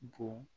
Bon